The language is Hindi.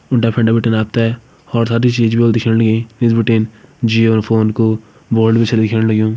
डेफ एंड डेबिटर आता है हौर सारी चीज भी होल दिखेण लगीं इस बिटेन जियो और फोन को बोर्ड भी छे दिख्येण लग्यूं।